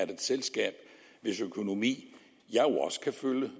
det selskab hvis økonomi jeg jo også kan følge